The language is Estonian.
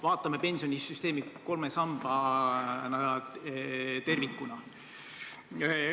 Vaatame pensionisüsteemi kolme sambana, tervikuna.